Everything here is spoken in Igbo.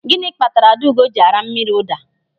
Gịnị kpatara Adaugo ji ara mmiri ụda?